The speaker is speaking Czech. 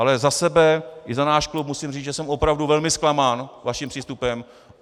Ale za sebe a za náš klub musí říct, že jsem opravdu velmi zklamán vaším přístupem.